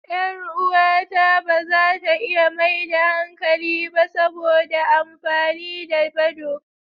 Yar uwata ba za ta iya maida hankali ba saboda amfani da badoo.